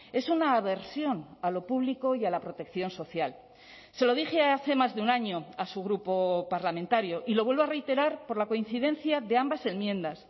es una aversión a lo público y a la protección social se lo dije hace más de un año a su grupo parlamentario y lo vuelvo a reiterar por la coincidencia de ambas enmiendas